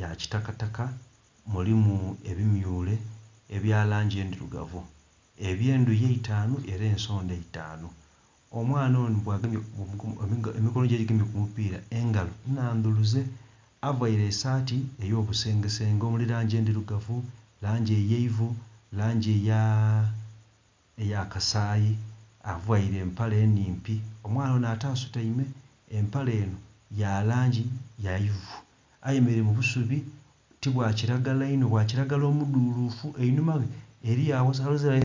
ya kitakataka mulimu ebimyule ebya langi endhirugavu ebye ndhuki eitanu oba ensodha eitanu. Omwaana onho emikonho dhe edhigemye ku mu pira engalo nnhandhuluze, avaire esati eyo bisenge senge omuli langi endhirugavu, langi eyeivu, langi eya kasayi avaire empala nnhimpi , omwaana onho ate asutaime. Empala enho ya langi yaivu ayemereire mu busubi ti bwa kilagala inho bwa kilagala omudhulufu einhuma ghe eriyo.........